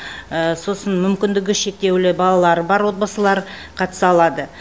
сосын мүмкіндігі шектеулі балалары бар отбасылар қатыса алады